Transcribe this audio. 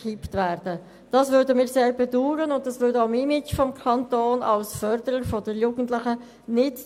Wir würden dessen Auflösung sehr bedauern, und das diente auch dem Image des Kantons als Förderer der Jugendlichen nicht.